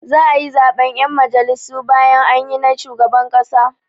Za'a yi zaɓen 'yan majalisu bayan anyi na shugaban ƙasa.